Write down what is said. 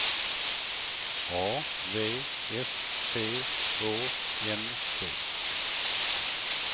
A V S T Å N D